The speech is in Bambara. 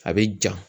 A bɛ ja